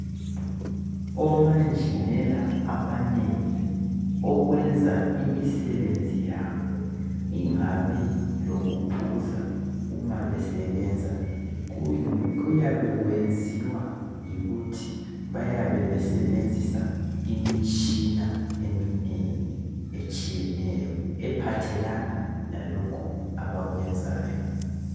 Omanjinela abanengi okwenza imisebenzi yabo ingabi lokuphuza uma besebenza kuyabe kwenziwa yikuthi bayabe besebenzisa imitshina eminengi etshiyeneyo ephathelana lalokhu abakwenzayo